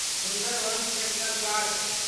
Sundarbans national park